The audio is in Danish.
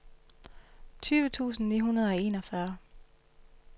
tyve tusind ni hundrede og enogfyrre